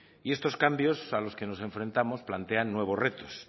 y estos cambios a los que nos enfrentamos plantean nuevos retos